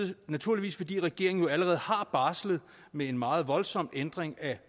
det naturligvis fordi regeringen jo allerede har barslet med en meget voldsom ændring af